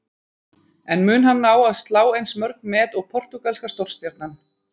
En mun hann ná að slá eins mörg met og portúgalska stórstjarnan?